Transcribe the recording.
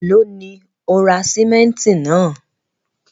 Ẹ̀lọ́ ni o ra símẹ̀ntì náà?